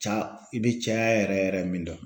Ca i be caya yɛrɛ yɛrɛ min dɔn